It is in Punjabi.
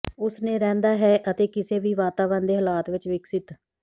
ਉਸ ਨੇ ਰਹਿੰਦਾ ਹੈ ਅਤੇ ਕਿਸੇ ਵੀ ਵਾਤਾਵਰਣ ਦੇ ਹਾਲਾਤ ਵਿੱਚ ਵਿਕਸਤ